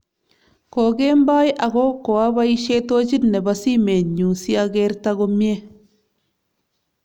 Kokemboi ako koabaisye tochit nebo simenyu sagerto komye